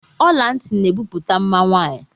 Ọlanti na ebupute mma nwaanyị.